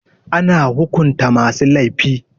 Ana hukunta masu laifi.